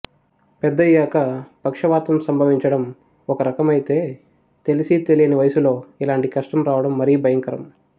పెద్దయాక పక్షవాతం సంభవించడం ఒకరకమైతే తెలిసీతెలియని వయసులో ఇలాంటి కష్టం రావడం మరీ భయంకరం